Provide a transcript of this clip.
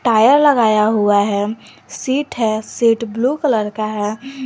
Tyre लगाया हुआ है सीट है सीट ब्लू कलर का है।